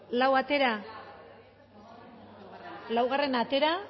lau atera laugarrena atera